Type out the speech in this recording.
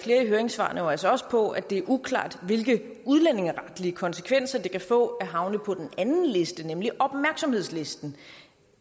høringssvarene jo altså også på at det er uklart hvilke udlændingeretlige konsekvenser det kan få at havne på den anden liste nemlig opmærksomhedslisten